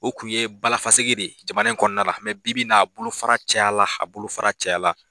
O kun ye Balafaseke de ye jamana in kɔnɔna la bi bi n' a bolofara caya la, a bolofara caya la.